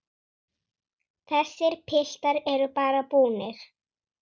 Þessir piltar eru bara búnir.